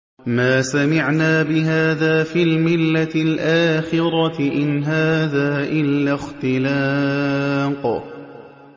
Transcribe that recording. مَا سَمِعْنَا بِهَٰذَا فِي الْمِلَّةِ الْآخِرَةِ إِنْ هَٰذَا إِلَّا اخْتِلَاقٌ